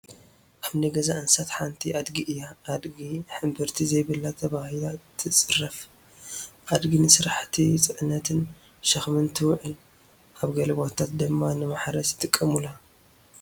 ኣብ ናይ ገዛ እንስሳት ሓንቲ ኣድጊ እያ፡፡ ኣድጊ ሕምብርቲ ዘይብላ ተባሂላ ትፅረፍ፡፡ ኣድጊ ንስራሕቲ ፅዕነትን ሸኽምን ትውዕል፡፡ ኣብ ገለ ቦታታ ድማ ንማሕረስ ይጥቀሙላ፡፡